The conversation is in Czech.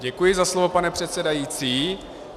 Děkuji za slovo, pane předsedající.